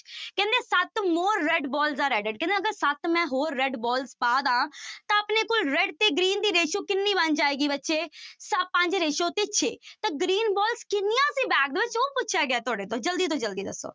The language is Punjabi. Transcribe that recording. ਕਹਿੰਦੇ ਸੱਤ red balls ਦਾ bag ਹੈ ਕਹਿੰਦੇ ਅਗਰ ਸੱਤ ਮੈਂ ਹੋਰ red ball ਪਾ ਦੇਵਾਂ ਤਾਂ ਆਪਣੇ ਕੋਲ red ਤੇ green ਦੀ ratio ਕਿੰਨੀ ਬਣ ਜਾਏਗੀ ਬੱਚੇ ਸ ਪੰਜ ratio ਤੇ ਛੇ ਤਾਂ green balls ਕਿੰਨੀਆਂ ਸੀ bag ਵਿੱਚ ਉਹ ਪੁੱਛਿਆ ਗਿਆ ਤੁਹਾਡੇ ਤੋਂ, ਜ਼ਲਦੀ ਤੋਂ ਜ਼ਲਦੀ ਦੱਸੋ।